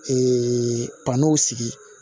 pa n'o sigi